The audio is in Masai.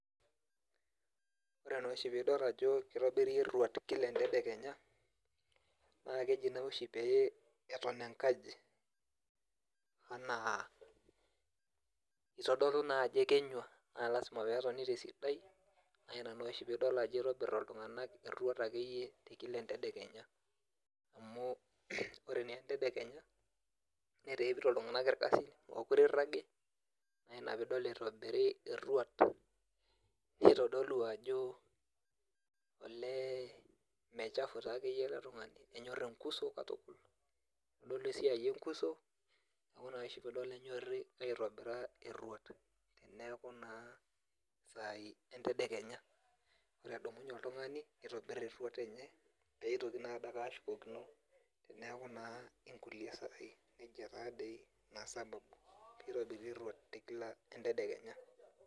Ore noshi pidol ajo kitobiri erruat kila entedekenya, naa keji noshi peton enkaji anaa itodolu naajo ekenyua, na lasima petoni tesidai, na ina noshi pidol ajo itobir iltung'anak erruat akeyie kila entedekenya. Amu ore naa entedekenya, netaa ekito iltung'anak irkasin, mokure irragi, na ina pidol pitobiri erruat pitodolu ajo olee mechafu takeyie ele tung'ani. Enyor enkuso katukul. Kitodolu esiai enkuso, neku noshi pidol enyorri aitobira erruat, teneeku naa isai entedekenya. Ore edumunye oltung'ani, nitobir erruat enye, peitoki nadake ashukokino, teneeku naa inkulie saai. Nejia tadoi. Ina sababu. Nitobiri erruat ekila entedekenya.